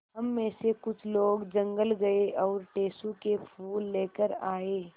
हम मे से कुछ लोग जंगल गये और टेसु के फूल लेकर आये